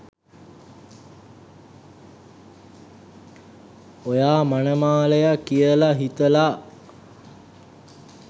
ඔයා මනමාලයා කියලා හිතලා